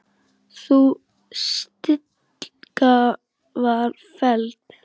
Sú tillaga var felld.